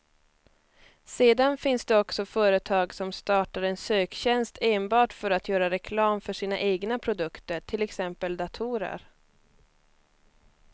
Sedan finns det också företag som startar en söktjänst enbart för att göra reklam för sina egna produkter, till exempel datorer.